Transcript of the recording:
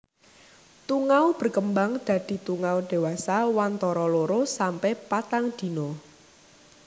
Tungau berkembang dadi tungau dewasa wantara loro sampe patang dina